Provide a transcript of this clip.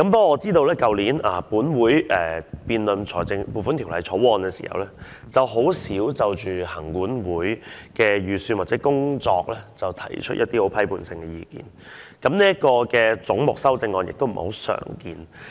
我知道去年本會在辯論《撥款條例草案》時，很少就行政管理委員會的預算開支或工作，提出一些批判性的意見，而就這個總目提出的修正案亦不太常見。